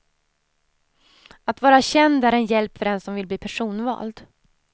Att vara känd är en hjälp för den som vill bli personvald.